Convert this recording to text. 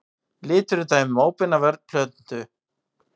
Litur er dæmi um óbeina vörn plöntu.